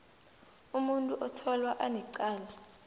umuntu otholwa anecala